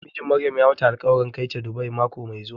Mijin Maryam ya mata alƙwarin kai ta Dubai mako mai zuwa.